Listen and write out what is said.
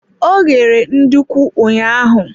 Ọ ghere nduku ụnyaahụ.